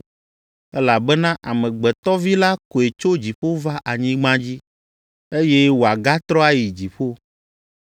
Elabena Amegbetɔ Vi la koe tso dziƒo va anyigba dzi, eye wòagatrɔ ayi dziƒo.